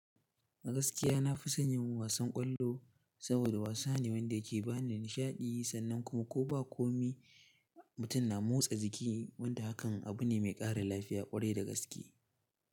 Gaskiya na fi sanyin wasan ƙwallo saboda wasa ne wanda yake ba ni nishaɗi sannan kuma ko ba komai mutum na motsa jiki wanda hakan abu ne mai ƙara lafiya ƙwarai da gaske.